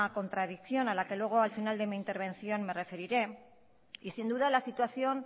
contradicción a la que luego al final de mi intervención me referiré y sin duda la situación